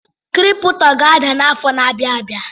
Kịrịpụtọ ga-ada n’afọ na-abịa abịa